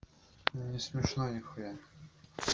не смешно нихуя